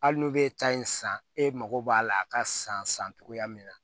Hali n'u bɛ taa in san e mago b'a la a ka san san cogoya min na